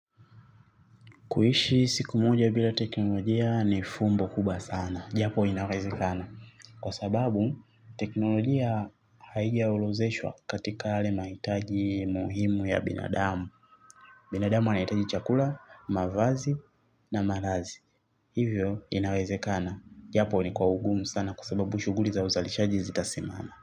Kuishi siku moja bila teknolojia ni fumbo kubwa sana. Jambo inawezekana. Kwa sababu teknolojia haija orodheshwa katika yale mahitaji muhimu ya binadamu. Binadamu anahitaji chakula, mavazi na malazi. Hivyo inareze kana. Japo ni kwa ugumu sana kwa sababu shughuli za uzalishaji zita simana.